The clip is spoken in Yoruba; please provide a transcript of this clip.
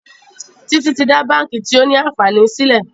Títí tí dá bánkì tio ní ànfàní sílè.